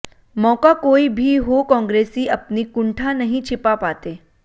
मौका कोई भी हो कॉन्ग्रेसी अपनी कुंठा नहीं छिपा पाते